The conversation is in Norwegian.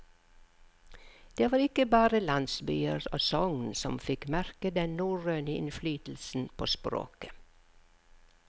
Det var ikke bare landsbyer og sogn som fikk merke den norrøne innflytelsen på språket.